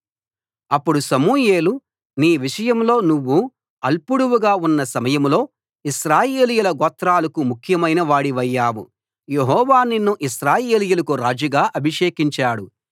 అప్పుడు సమూయేలు నీ విషయంలో నువ్వు అల్పుడవుగా ఉన్న సమయంలో ఇశ్రాయేలీయుల గోత్రాలకు ముఖ్యమైన వాడివయ్యావు యెహోవా నిన్ను ఇశ్రాయేలీయులకు రాజుగా అభిషేకించాడు